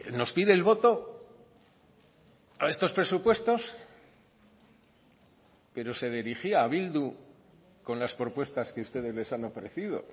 nos pide el voto a estos presupuestos pero se dirigía a bildu con las propuestas que ustedes les han ofrecido